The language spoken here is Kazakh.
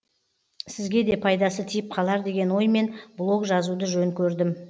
сізге де пайдасы тиіп қалар деген оймен блог жазуды жөн көрдім